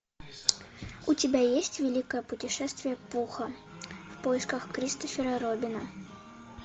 у тебя есть великое путешествие пуха в поисках кристофера робина